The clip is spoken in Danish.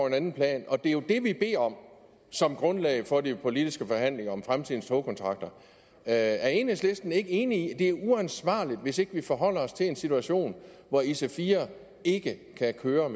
en anden plan det er jo det vi beder om som grundlag for de politiske forhandlinger om fremtidens togkontrakter er enhedslisten ikke enig i at det er uansvarligt hvis ikke vi forholder os til en situation hvor ic4 ikke kan køre